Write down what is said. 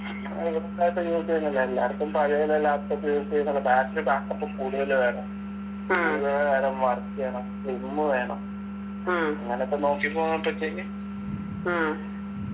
എല്ലാർക്കും പഴയ വല്ല laptop use battery back up ഉം കൂടുതല് വേണം കൂടുതല് കാലം work എയ്യണം slim വേണം അങ്ങനെക്കെ നോക്കി പോവുമ്പോഴത്തേക്ക്